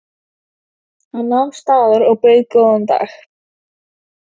Hann nam staðar og bauð góðan dag.